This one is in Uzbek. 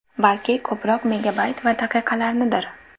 Balki ko‘proq megabayt va daqiqalarnidir?!